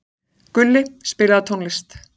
Gulli, spilaðu tónlist.